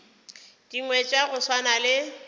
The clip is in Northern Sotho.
dingwe tša go swana le